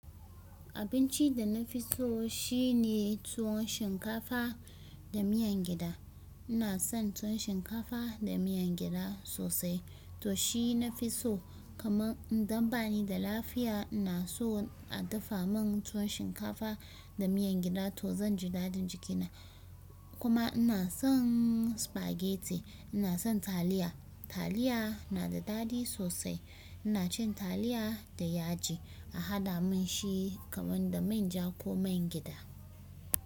Abinci da na fi so shine tuwon shinkafa da miyan gyaɗa. Ina son tuwon shinkafa da miyan gyaɗa sosai to shi na fi so kamar idan bani da lafiya ina so a dafa mun tuwon shinkafa da miyan gyaɗa to zan ji daɗin jikina. Kuma ina son spaghetti. Ina son taliya, taliya na da daɗi sosai. Ina cin taliya da yaji a haɗa mun shi kamar da manja ko man gyaɗa.